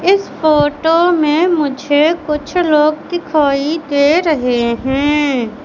इस फोटो में मुझे कुछ लोग दिखाई दे रहे हैं।